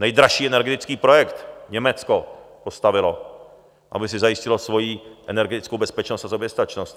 Nejdražší energetický projekt Německo postavilo, aby si zajistilo svoji energetickou bezpečnost a soběstačnost.